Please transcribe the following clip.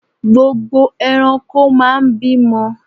Gbogbo ẹranko máa ń bímọ.